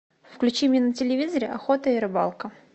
включи мне на телевизоре охота и рыбалка